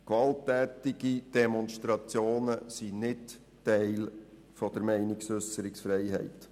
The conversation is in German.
Gewalttätige Demonstrationen gehören nicht zur Meinungsäusserungsfreiheit.